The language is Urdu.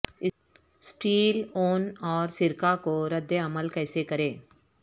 اسٹیل اون اور سرکہ کو رد عمل کیسے کریں